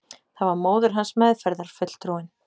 Það var móðir hans, meðferðarfulltrúinn.